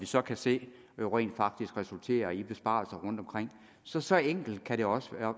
så kan se rent faktisk resulterer i besparelser rundtomkring så så enkelt kan det også